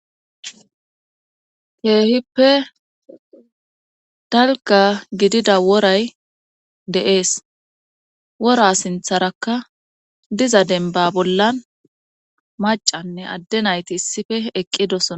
Keehippe dalgga gidida woray de7ees wora sintharakka diza dembba bolla maccanne adde nayti issife eqqidosona